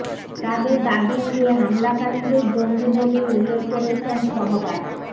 তাদের দাবি উড়িয়ে হামলাকারীদের জঙ্গি বলেই উল্লেখ করেছেন সহবাগ